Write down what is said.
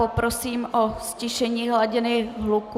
Poprosím o ztišení hladiny hluku.